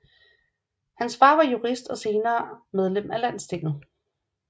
Hans far var jurist og senere medlem af Landstinget